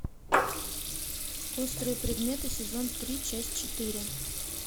острые предметы сезон три часть четыре